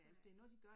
Nej